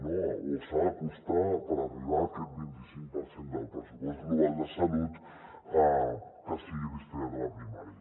no o s’ha d’acostar per arribar a aquest vint i cinc per cent del pressupost global de salut que sigui destinat a la primària